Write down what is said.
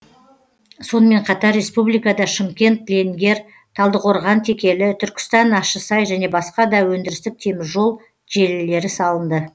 сонымен қатар республикада шымкент ленгер талдықорған текелі түркістан ащысай және басқа да өндірістік теміржол желілері салынды